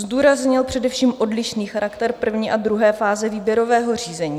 Zdůraznil především odlišný charakter první a druhé fáze výběrového řízení.